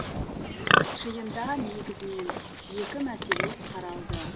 жиында негізінен екі мәселе қаралды